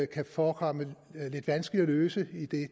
kan forekomme lidt vanskelige at løse idet det